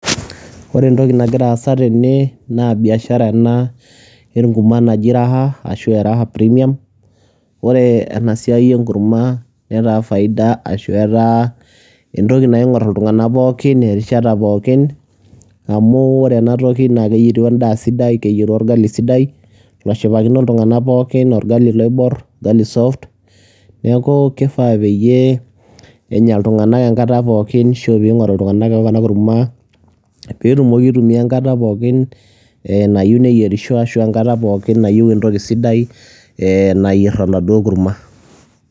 Ore entoki nagira aasa tene naa biashara ena enkurma naji Raha ashu e Raha premium. Ore ena siai enkurma, netaa faida ashu etaa entoki naing'or iltung'anak pookin erishata pookin amu ore ena toki naake eyeru endaa sidai, keyeru orgali sidai loshipakino iltung'anak pookin orgali loibor, orgali soft. Neeku kifaa peyie enya iltung'anak enkata pookin ashu piing'oru iltung'anak ena kurma peetumoki aitumia enkata pookin ee nayiu neyerisho ashu enkata pookin nayiu entoki sidai ee nayer enaduo kurma.